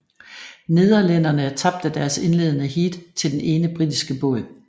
Nederlænderne tabte deres indledende heat til den ene britiske båd